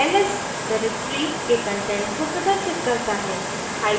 ls directory के content को प्रदर्शित करता है